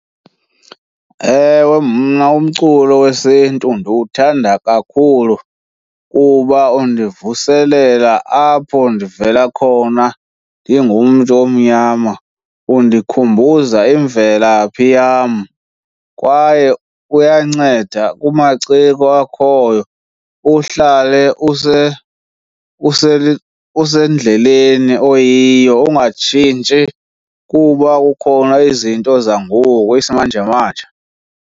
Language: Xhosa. Ewe, mna umculo wesiNtu ndiwuthanda kakhulu kuba undivuselela apho ndivela khona ndingumntu omnyama. Undikhumbuza imvelaphi yam kwaye uyanceda kumaciko akhoyo. Uhlale usendleleni oyiyo ungatshintshi kuba kukhona izinto zangoku isimanjemanje.